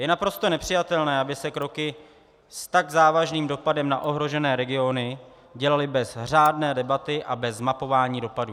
Je naprosto nepřijatelné, aby se kroky s tak závažným dopadem na ohrožené regiony dělaly bez řádné debaty a bez mapování dopadů.